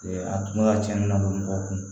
A tun bɛ ka cɛnni la o mɔgɔ kun